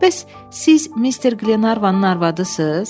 Bəs siz Mister Qlenarvanın arvadısınız?